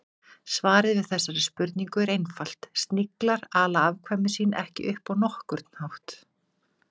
Svarið við þessari spurningu er einfalt: Sniglar ala afkvæmi sín ekki upp á nokkurn hátt.